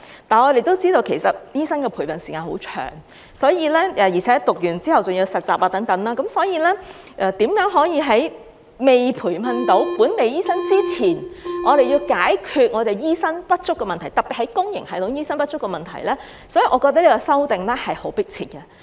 但是，我們也知道，其實醫生的培訓時間很長，而且唸完後還要實習等，因此如何能在未培訓到本地醫生之前，解決醫生不足，特別是公營系統醫生不足的問題，我覺得這次修例是很迫切的。